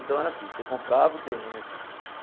Então era assim, você comprava o terreno.